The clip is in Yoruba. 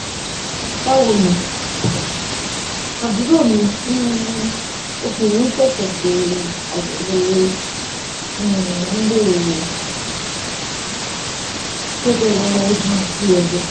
bawoni aburo mi um obinrin sese se ayewo um lile ti jejere eegun ati edo